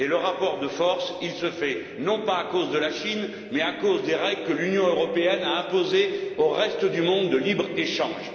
Et le rapport de force se fait non pas à cause de la Chine, mais à cause des règles que l'Union européenne a imposées au reste du monde en matière de libre échange.